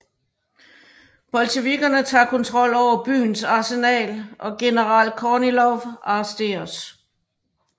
Bolsjevikkerne tager kontrol over byens arsenal og general Kornilov arresteres